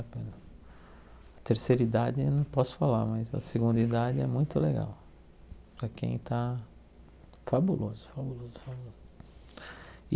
A terceira idade eu não posso falar, mas a segunda idade é muito legal para quem está fabuloso.